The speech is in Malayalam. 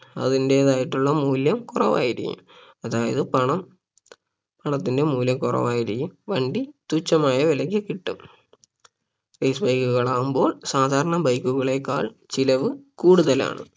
അതിന്റേതായിട്ടുള്ള മൂല്യം കുറവായിരിക്കും അതായത് പണം പണത്തിന്റെ മൂല്യം കുറവായിരിക്കും വണ്ടി തുച്ഛമായ വിലക്ക് കിട്ടും race bike കളാകുമ്പോൾ സാധാരണ bike കളേക്കാൾ ചിലവ് കൂടുതലാണ്